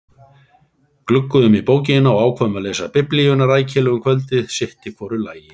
Glugguðum í bókina og ákváðum að lesa biblíuna rækilega um kvöldið sitt í hvoru lagi.